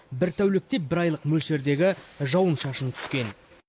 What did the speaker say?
бір тәулікте бір айлық мөлшердегі жауын шашын түскен